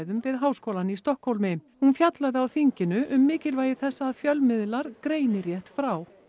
fjölmiðlafræðum við háskólann í Stokkhólmi hún fjallaði á þinginu um mikilvægi þess að fjölmiðlar greini rétt frá